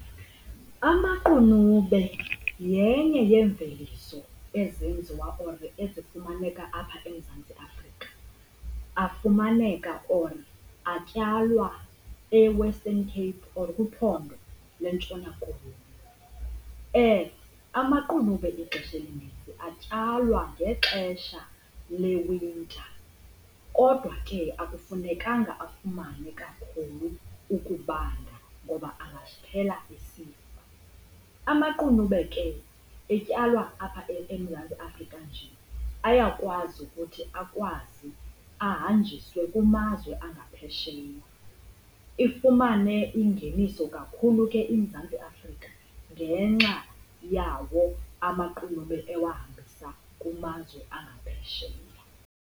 Amaqunube yenye yemveliso ezenziwa or ezifumaneka apha eMzantsi Afrika. Afumaneka or atyalwa eWestern Cape or kwiphondo lweNtshona Koloni. Amaqunube ixesha elininzi atyalwa ngexesha lewinta kodwa ke akufunekanga afumane kakhulu ukubanda ngoba angaphela esifa. Amaqunube ke etyalwa apha eMzantsi Afrika nje ayakwazi ukuthi akwazi ahanjiswe kumazwe angaphesheya ifumane ingeniso kakhulu ke iMzantsi Afrika ngenxa yawo amaqunube ewahambisa kumazwe angaphesheya.